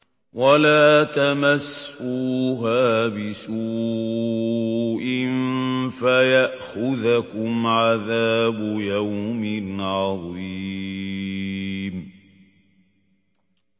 وَلَا تَمَسُّوهَا بِسُوءٍ فَيَأْخُذَكُمْ عَذَابُ يَوْمٍ عَظِيمٍ